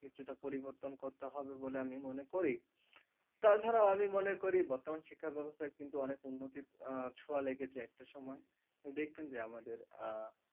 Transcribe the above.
কিছুটা পরিবর্তন করতে হবে বলে আমি মনে করি। তাছাড়াও আমি মনে করি বর্তমান শিক্ষা ব্যবস্থার কিন্তু উন্নতির আহ ছোঁয়া লেগেছে একটা সময় দেখবেন যে আমাদের আহ